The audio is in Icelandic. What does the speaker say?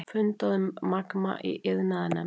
Fundað um Magma í iðnaðarnefnd